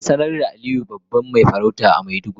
An sanar da Aliyu babban mafarauci a maiduguri.